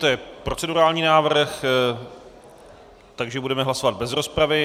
To je procedurální návrh, takže budeme hlasovat bez rozpravy.